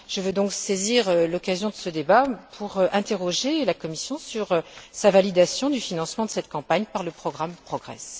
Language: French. Je veux donc saisir l'occasion de ce débat pour interroger la Commission sur sa validation du financement de cette campagne par le programme PROGRESS.